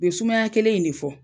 U be sumaya kelen in ne fɔ